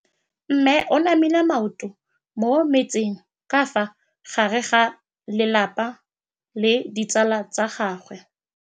Mme o namile maoto mo mmetseng ka fa gare ga lelapa le ditsala tsa gagwe.